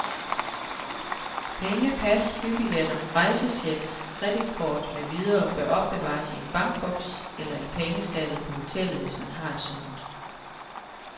Penge, pas, flybilletter, rejsechecks, kreditkort med videre bør opbevares i en bankboks eller i pengeskabet på hotellet, hvis man har et sådant.